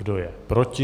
Kdo je proti?